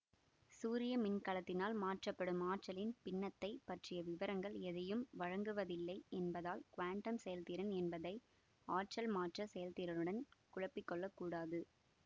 சூரிய மின்கலத்தினால் மாற்றப்படும் ஆற்றலின் பின்னத்தைப் பற்றிய விவரங்கள் எதையும் வழங்குவதில்லை என்பதால் குவாண்டம் செயல்திறன் என்பதை ஆற்றல் மாற்ற செயல்திறனுடன் குழப்பிக்கொள்ளக்கூடாது